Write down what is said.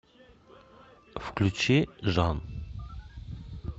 включи жан